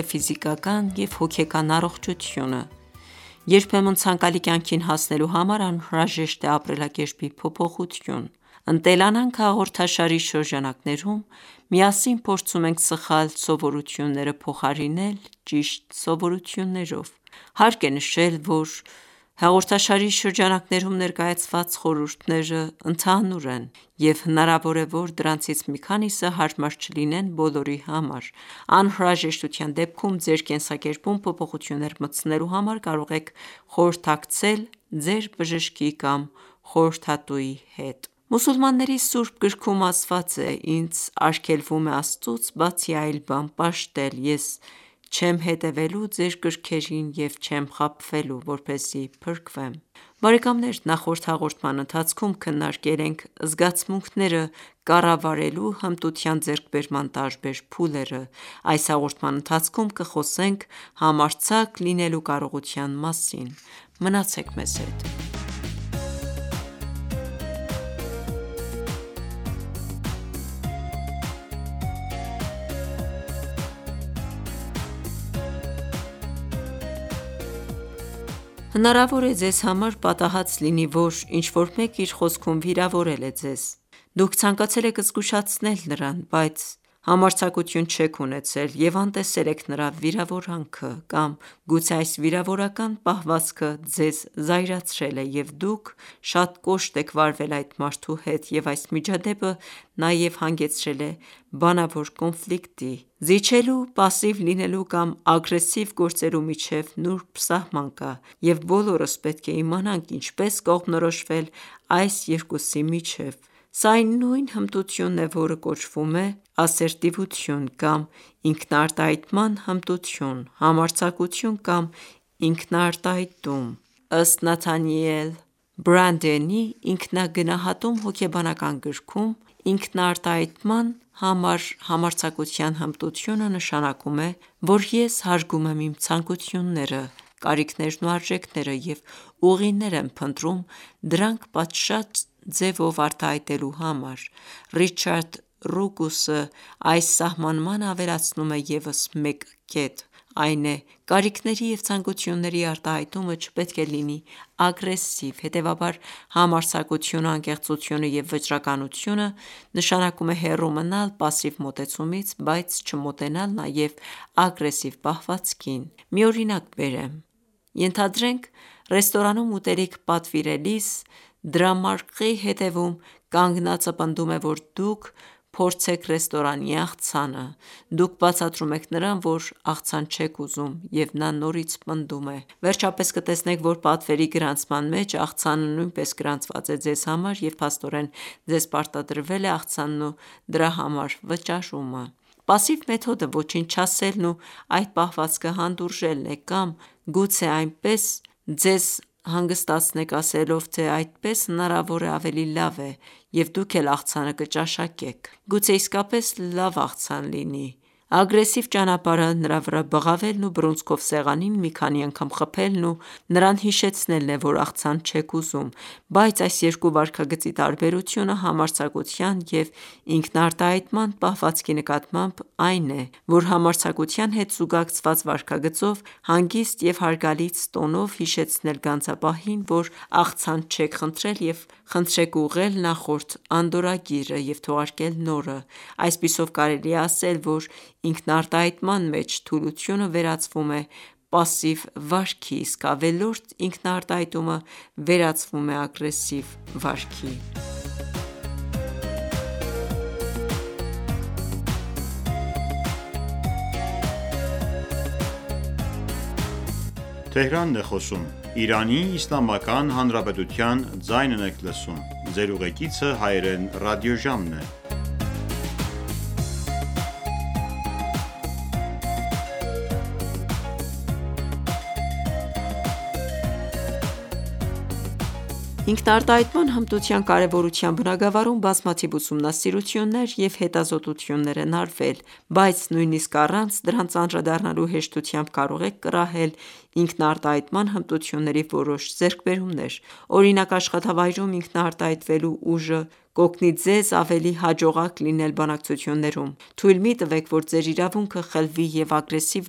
է ֆիզիկական և հոգեկան առողջությունը։ Երբեմն ցանկալի կյանքին հասնելու համար անհրաժեշտ է ապրելակերպի փոփոխություն։ «Ընտելանանք» հաղորդաշարի շրջանակներում միասին փորձում ենք սխալ սովորությունները փոխարինել ճիշտ սովորություններով։ Հարկ է նշել, որ հաղորդաշարի շրջանակներում ներկայացված խորհուրդներն ընդհանուր են, և հնարավոր է, որ դրանցից մի քանիսը հարմար չլինեն բոլորի համար: Անհրաժեշտության դեպքում ձեր կենսակերպում փոփոխություններ մտցնելու համար կարող եք խորհրդակցել ձեր բժշկի կամ խորհրդատուի հետ: Մուսուլմանների Ս. գրքում ասված է.«Ինձ արգելվում է Աստծուց բացի, այլ բան պաշտել: Ես չեմ հետևելու ձեր կրքերին և չեմ խաբվելու, որպեսզի փրկվեմ»: Ողջույն հարգելի ունկնդիրներ: Նախորդ հաղորդման ընթացքում քննարկել ենք զգացմունքները կառավարելու հմտության ձեռքբերման տարբեր փուլերը։ Այս հաղորդման ընթացքում կխոսենք համարձակ լինելու կարողության մասին։ Մնացեք մեզ հետ։ Հնարավոր է ձեզ համար պատահած լինի, որ ինչ-որ մեկն իր խոսքում վիրավորել է ձեզ, դուք ցանկացել եք զգուշացնել նրան, բայց դուք համարձակություն չեք ունեցել և անտեսել եք նրա վիրավորանքը։ Կամ գուցե այս վիրավորական պահվածքը ձեզ զայրացրել է, և դուք շատ կոշտ եք վարվել այդ մարդու հետ, և այս միջադեպը նաև հանգեցրել է բանավոր կոնֆլիկտի։ Զիջելու, պասիվ լինելու կամ ագրեսիվ գործելու միջև, նուրբ սահման կա, և բոլորս պետք է իմանանք ինչպես կողմնորոշվել այս երկուսի միջև: Սա այն նույն հմտությունն է, որը կոչվում է «Ասերտիվություն» կամ «ինքնաարտահայտման հմտություն», «համարձակություն» կամ «ինքնարտահայտում»: Ըստ Նաթանիել Բրանդենի «Ինքնագնահատում» հոգեբանական գրքում, ինքնարտահայտման կամ համարձակության հմտությունը նշանակում է, որ ես հարգում եմ իմ ցանկությունները, կարիքներն ու արժեքները և ուղիներ եմ փնտրում դրանք պատշաճ ձևով արտահայտելու համար: Ռիչարդ Ռուկուսը այս սահմանմանը ավելացնում է ևս մեկ կետ, այն է՝ կարիքների և ցանկությունների արտահայտումը չպետք է լինի ագրեսիվ: Հետևաբար, համարձակությունը, անկեղծությունը և վճռականությունը նշանակում է հեռու մնալ պասիվ մոտեցումից, բայց չմոտենալ նաև ագրեսիվ պահվածքին։ Մի օրինակ բերեմ. Ենթադրենք, ռեստորանում ուտելիք պատվիրելիս, դրամարկղի հետևում կանգնածը պնդում է, որ դուք փորձեք ռեստորանի աղցանը։ Դուք բացատրում եք նրան, որ աղցան չեք ուզում, և նա նորից պնդում է: Վերջապես կտեսնեք, որ պատվերի գրանցման մեջ աղցանը նույնպես գրանցված է ձեզ համար, և փաստորեն ձեզ պարտադրվել է աղցանն ու դրա համար վճարումը։ Պասիվ մեթոդը ոչինչ չասելն ու այդ պահվածքը հանդուրժելն է կամ գուցե այնպես ձեզ հանգստացնենք, ասելով, թե այդպես հնարավոր է ավելի լավ է և դուք էլ աղցանը կճաշակեք: Գուցե իսկապես լավ աղցան լինի: Ագրեսիվ ճանապարհը նրա վրա բղավելն ու բռունցքով սեղանին մի քանի անգամ խփելն ու նրան հիշեցնելն է, որ աղցան չեք ուզում: Բայց այս երկու վարքագծի տարբերությունը համարձակության և ինքնարտահայտման պահվածքի նկատմամբ այն է, որ համարձակության հետ զուգակցված վարքագծով հանգիստ և հարգալից տոնով հիշեցնել գանձապահին, որ աղցան չեք խնդրել և խնդրեք ուղղել նախորդ անդորրագիրը և թողարկել նորը: Այսպիսով, կարելի է ասել, որ ինքնարտահայտման մեջ թուլությունը վերածվում է պասիվ վարքի, իսկ ավելորդ ինքնարտահայտումը վերածվում է ագրեսիվ վարքի։ Ինքնարտահայտման հմտության կարևորության բնագավառում բազմաթիվ ուսումնասիրություններ և հետազոտություններ են արվել։ Բայց նույնիսկ առանց դրանց անդրադառնալու, հեշտությամբ կարող եք կռահել ինքնարտահայտման հմտությունների որոշ ձեռքբերումներ։ Օրինակ՝ աշխատավայրում ինքնարտահայտվելու ուժը կօգնի ձեզ ավելի հաջողակ լինել բանակցություններում: Թույլ մի տվեք, որ ձեր իրավունքը խլվի, և ագրեսիվ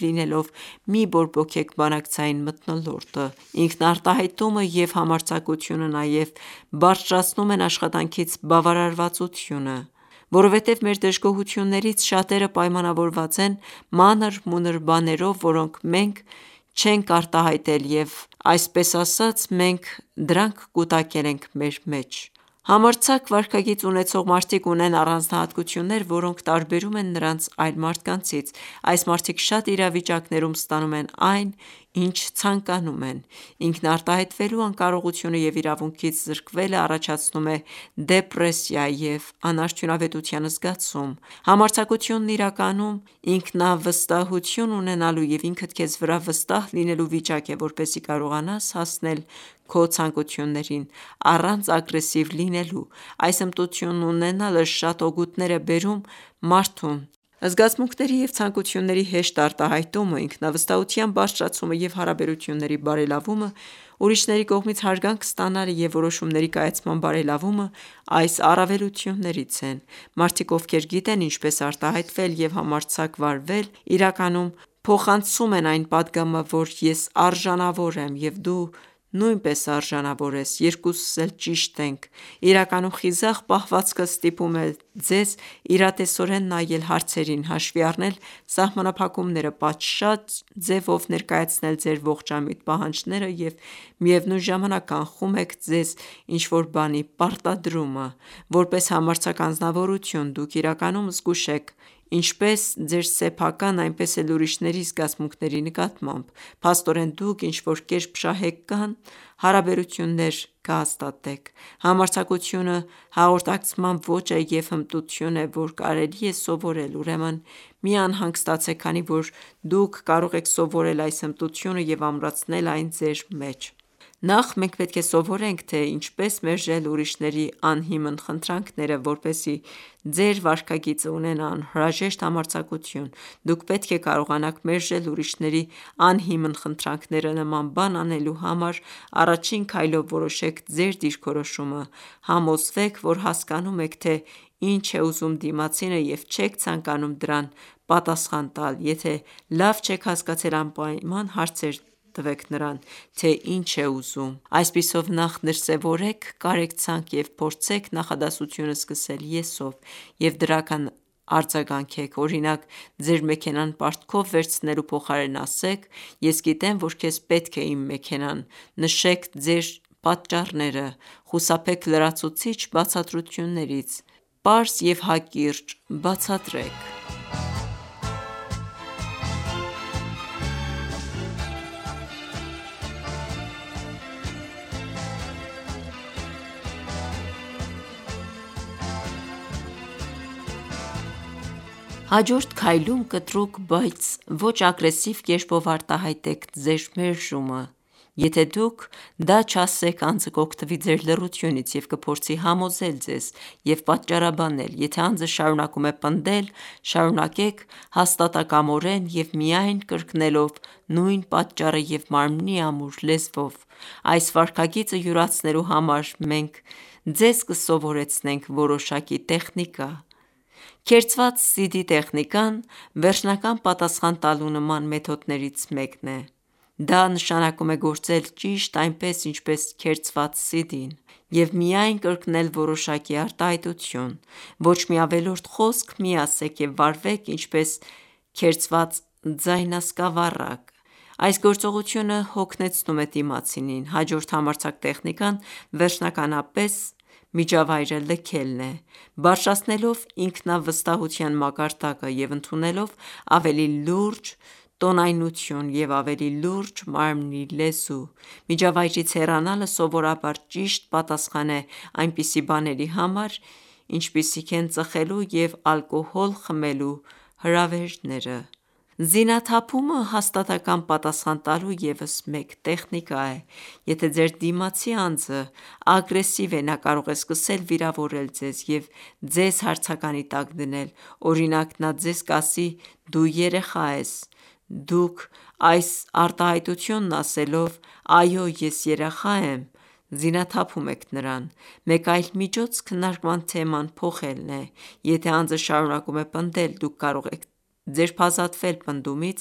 լինելով մի՛ բորբոքեք բանակցային մթնոլորտը։ Ինքնարտահայտումը և համարձակությունը նաև բարձրացնում են աշխատանքից բավարարվածությունը: Որովհետև մեր դժգոհություններից շատերը պայմանավորված են մանր-մունր բաներով, որոնք մենք չենք արտահայտել և այսպես ասած, մենք դրանք կուտակել ենք մեր մեջ։ Համարձակ վարքագիծ ունեցող մարդիկ ունեն առանձնահատկություններ, որոնք տարբերում են նրանց այլ մարդկանցից: Այս մարդիկ շատ իրավիճակներում ստանում են այն, ինչ ցանկանում են: Ինքնարտահայտվելու անկարողությունը և իրավունքից զրկվելն առաջացնում է դեպրեսիա և անարդյունավետության զգացում: Համարձակությունն իրականում ինքնավստահություն ունենալու և ինքդ քեզ վրա վստահ լինելու վիճակ է, որպեսզի կարողանաս հասնել քո ցանկություններին՝ առանց ագրեսիվ լինելու: Այս հմտությունն ունենալը շատ օգուտներ է բերում մարդուն: Զգացմունքների և ցանկությունների հեշտ արտահայտումը, ինքնավստահության բարձրացումը, և հարաբերությունների բարելավումը, ուրիշների կողմից հարգանք ստանալը և որոշումների կայացման բարելավումը այս առավելություններից են: Մարդիկ, ովքեր գիտեն ինչպես արտահայտվել և համարձակ վարվել, իրականում փոխանցում են այն պատգամը, որ ես արժանավոր եմ, և դու նույնպես արժանավոր ես: Երկուսս էլ ճիշտ ենք։ Իրականում խիզախ պահվածքը ստիպում է ձեզ իրատեսորեն նայել հարցերին, հաշվի առնել սահմանափակումները, պատշաճ ձևով ներկայացնել ձեր ողջամիտ պահանջները և միևնույն ժամանակ կանխում եք ձեզ ինչ-որ բանի պարտադրումը։ Որպես համարձակ անձնավորություն՝ դուք իրականում զգույշ եք ինչպես ձեր սեփական, այնպես էլ ուրիշների զգացմունքների նկատմամբ։ Փաստորեն, դուք ինչ-որ կերպ շահեկան հարաբերություններ կհաստատեք: Համարձակությունը հաղորդակցման ոճ է և հմտություն է, որ կարելի է սովորել: Ուրեմն մի անհանգստացեք, քանի որ դուք կարող եք սովորել այս հմտությունը և ամրացնել այն ձեր մեջ: Նախ, մենք պետք է սովորենք, թե ինչպես մերժել ուրիշների անհիմն խնդրանքները: Որպեսզի ձեր վարքագիծը ունենա անհրաժեշտ համարձակություն, դուք պետք է կարողանաք մերժել ուրիշների անհիմն խնդրանքները։ Նման բան անելու համար առաջին քայլով որոշեք ձեր դիրքորոշումը։ Համոզվեք, որ հասկանում եք, թե ինչ է ուզում դիմացինը և չեք ցանկանում դրական պատասխան տալ: Եթե լավ չեք հասկացել, անպայման հարցրեք նրան, թե ինչ է ուզում։ Այսպիսով, նախ դրսևորեք կարեկցանք և փորձեք նախադասությունը սկսել ես-ով և դրական արձագանքեք. Օրինակ, ձեր մեքենան պարտքով վերցնելու փոխարեն, ասեք «Ես գիտեմ, որ քեզ պետք է իմ մեքենան»: Նշեք ձեր պատճառները: Խուսափեք լրացուցիչ բացատրություններից։ Պարզ և հակիրճ բացատրեք: Հաջորդ քայլում կտրուկ, բայց ոչ ագրեսիվ կերպով արտահայտեք ձեր մերժումը: Եթե դուք դա չասեք, անձը կօգտվի ձեր լռությունից և կփորձի համոզել ձեզ և պատճառաբանել: Եթե անձը շարունակում է պնդել, շարունակեք հաստատակամորեն և միայն կրկնելով նույն պատճառը և մարմնի ամուր լեզվով։ Այս վարքագիծը յուրացնելու համար մենք ձեզ կսովորեցնենք որոշակի տեխնիկա: Քերծված CD տեխնիկան վերջնական պատասխան տալու նման մեթոդներից մեկն է: Դա նշանակում է գործել ճիշտ այնպես, ինչպես քերծված CD-ն և միայն կրկնել որոշակի արտահայտություն: Ոչ մի ավելորդ խոսք մի ասեք և վարվեք ինչպես քերծված ձայնասկավառակ: Այս գործողությունը հոգնեցնում է դիմացինին։ Հաջորդ համարձակ տեխնիկան վերջնականապես միջավայրը լքելն է՝ բարձրացնելով ինքնավստահության մակարդակը, և ընդունելով ավելի լուրջ տոնայնություն և ավելի լուրջ մարմնի լեզու: Միջավայրից հեռանալը սովորաբար ճիշտ պատասխան է այնպիսի բաների համար, ինչպիսիք են ծխելու և ալկոհոլ խմելու հրավերները: Զինաթափումը հաստատակամ պատասխան տալու ևս մեկ տեխնիկա է: Եթե ձեր դիմացի անձը ագրեսիվ է, նա կարող է սկսել վիրավորել ձեզ և ձեզ հարցականի տակ դնել։ Օրինակ, նա ձեզ կասի, «դու երեխա ես»: Դուք այս արտահայտությունն ասելով. «Այո, ես երեխա եմ» զինաթափում եք նրան: Մեկ այլ միջոց քննարկման թեման փոխելն է։ Եթե անձը շարունակում է պնդել, դուք կարող եք ձերբազատվել պնդումից՝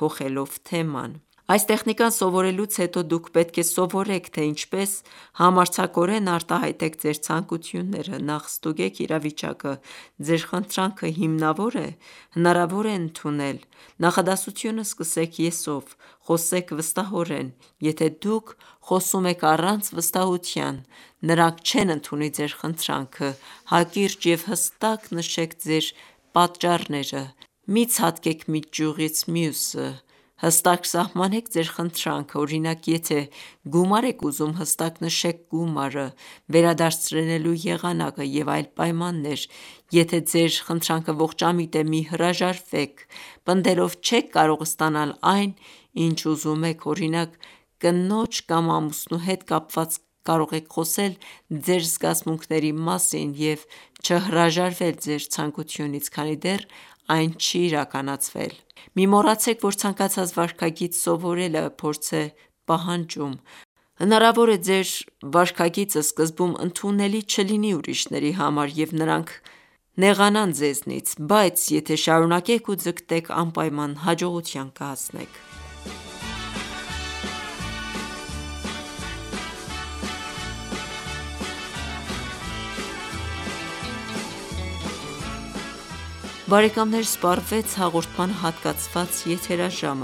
փոխելով թեման: Այս տեխնիկան սովորելուց հետո դուք պետք է սովորեք, թե ինչպես համարձակորեն արտահայտեք ձեր ցանկությունները: Նախ ստուգեք իրավիճակը, Ձեր խնդրանքը հիմնավո՞ր է: Հնարավո՞ր է ընդունել։ Նախադասությունը սկսեք «ես»-ով: Խոսեք վստահորեն: Եթե դուք խոսում եք առանց վստահության, նրանք չեն ընդունի ձեր խնդրանքը: Հակիրճ և հստակ նշեք ձեր պատճառները: Մի ցատկեք մի ճյուղից մյուսը: Հստակ սահմանեք ձեր խնդրանքը: Օրինակ, եթե գումար եք ուզում, հստակ նշեք գումարը, վերադարձնելու եղանակը և այլ պայմաններ։ Եթե ձեր խնդրանքը ողջամիտ է, մի հրաժարվեք: Պնդելով չեք կարող ստանալ այն, ինչ ուզում եք։ Օրինակ՝ կնոջ կամ ամուսնու հետ կապված կարող եք խոսել ձեր զգացմունքների մասին և չհրաժարվել ձեր ցանկությունից, քանի դեռ այն չի իրականացվել։ Մի մոռացեք, որ ցանկացած վարքագիծ սովորելը փորձ է պահանջում: Հնարավոր է սկզբում ձեր վարքագիծը ընդունելի չլինի ուրիշների համար, և նրանք կնեղանան ձեզնից, բայց եթե շարունակեք ու ձգտեք, անպայման հաջողության կհասնեք։ Բարեկամներ սպառվեց հաղորդմանը հատկացված եթերաժամը: